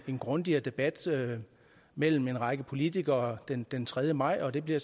en grundigere debat mellem en række politikere den den tredje maj det bliver